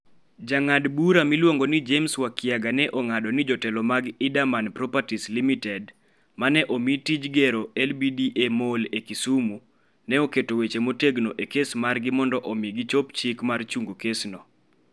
Jang'ad bura miluongo ni James Wakiaga ne ong'ado ni jotelo mag Erdemann Properties Ltd ma ne omi tij gero LBDA Mall e Kisumu ne oketo weche motegno e kes margi mondo omi gichop chik mar chungo kesno.